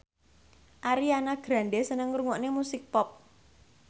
Ariana Grande seneng ngrungokne musik pop